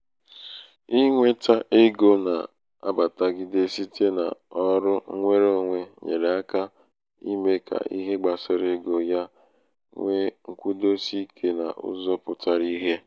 inwētā ego na-abàtagide site n’ọrụ ṅnwereōnwē nyèrè aka ime ka ihe gbasara ego ya nwee ṅkwudosi ikē n’ụzọ̄ pụtara ìhè.